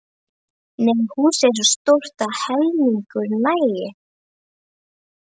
Nei, húsið er svo stórt að helmingur nægir.